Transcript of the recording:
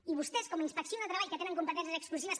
i vostès com a inspecció de treball que tenen competències exclusives